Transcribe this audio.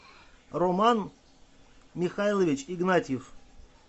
роман михайлович игнатьев